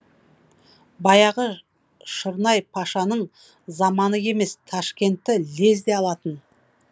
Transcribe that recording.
баяғы шырнай пашаның заманы емес ташкентті лезде алатын